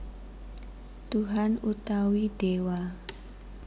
Tuhan utawi Déwa